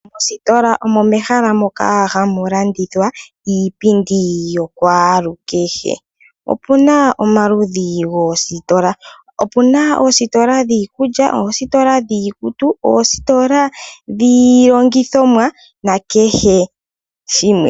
Moositola omo mehala moka hamu landithwa iipindi yokwaalukehe. Opuna omaludhi ogendji goositola. Opuna oositola dhiikulya, oositola dhiikutu, oositola dhiilongithomwa na kehe shimwe.